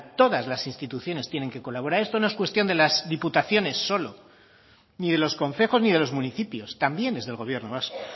todas las instituciones tienen que colaborar esto no es cuestión solo de las diputaciones ni de los concejos ni de los municipios también es del gobierno vasco